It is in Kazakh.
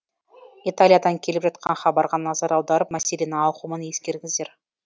италиядан келіп жатқан хабарға назар аударып мәселенің ауқымын ескеріңіздер